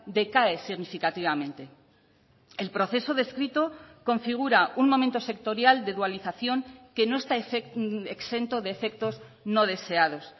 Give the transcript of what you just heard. decae significativamente el proceso descrito configura un momento sectorial de dualización que no está exento de efectos no deseados